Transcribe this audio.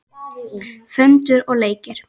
Föndur og leikir.